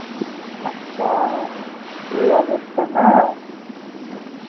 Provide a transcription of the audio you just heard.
আচ্ছা, এই অবস্থা না